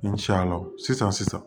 Ni ce a la sisan sisan